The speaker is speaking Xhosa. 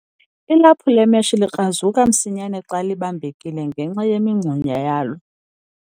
Ilaphu lemeshi likrazuka msinyane xa libambekile ngenxa yemingxunyana yalo.